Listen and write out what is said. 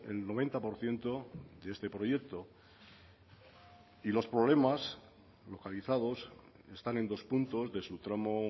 el noventa por ciento de este proyecto y los problemas localizados están en dos puntos de su tramo